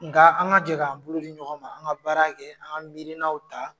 N ka an ka jɛ kan bolo di ɲɔgɔn ma an ka baara kɛ an ka mirin' ta.